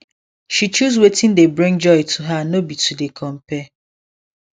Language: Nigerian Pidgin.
she choose watin dey bring joy to her no be to dey compare